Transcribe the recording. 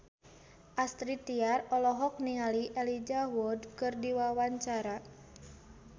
Astrid Tiar olohok ningali Elijah Wood keur diwawancara